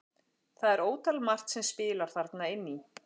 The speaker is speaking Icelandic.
Það er ótal margt sem spilar þarna inn í.